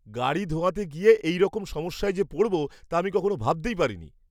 গাড়ি ধোয়াতে গিয়ে এইরকম সমস্যায় যে পড়ব, তা আমি কখনো ভাবতেই পারিনি!